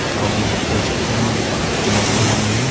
अउ पोस्टर है लगे हवे।